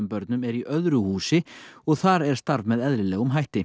börnum er í öðru húsi og þar er starf með eðlilegum hætti